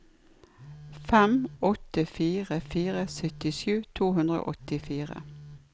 fem åtte fire fire syttisju to hundre og åttifire